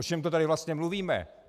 O čem to tady vlastně mluvíme?